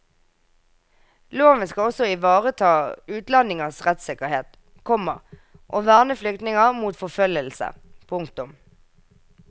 Loven skal også ivareta utlendingers rettssikkerhet, komma og verne flyktninger mot forfølgelse. punktum